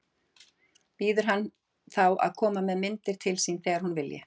Býður henni þá að koma með myndir til sín þegar hún vilji.